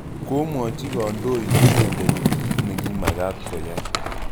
Komwochi kandoik inendet kit ne kimakat koyai